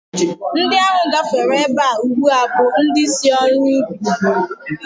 Ndị ahụ gafere ebe a ugbu a bụ ndị si ọrụ ubi